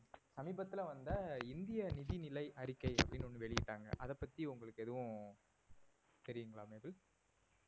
சமீபத்தில வந்த இந்திய நிதி நிலை அறிக்கை அப்படின்னு ஒண்ணு வெளியிட்டாங்க அதை பத்தி உங்களுக்கு எதுவும் தெரியுங்களா நேபல்?